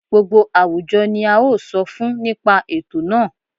Gbogbo àwùjọ ni a ó sọ fún nípa ètò náà